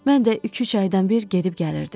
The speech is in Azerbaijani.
Mən də iki-üç aydan bir gedib gəlirdim.